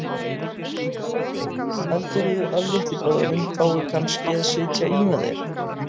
Lillý Valgerður: Heldurðu að litli bróðir þinn fái kannski að sitja í með þér?